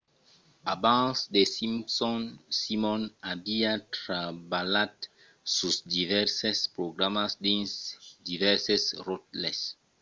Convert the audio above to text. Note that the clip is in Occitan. abans the simpsons simon aviá trabalhat sus divèrses programas dins divèrses ròtles